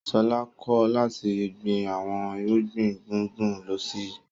Ṣọlá kọ̀ láti gbin àwọn irúgbìn gbùngbùn lóṣù yìí.